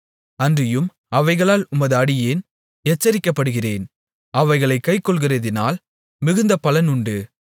அன்றியும் அவைகளால் உமது அடியேன் எச்சரிக்கப்படுகிறேன் அவைகளைக் கைக்கொள்ளுகிறதினால் மிகுந்த பலன் உண்டு